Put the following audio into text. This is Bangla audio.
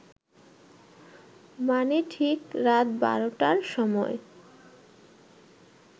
মানে ঠিক রাত বারটার সময়